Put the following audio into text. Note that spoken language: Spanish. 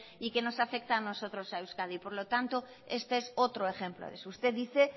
y que nos afecta a nosotros a euskadi por lo tanto este es otro ejemplo de eso usted dice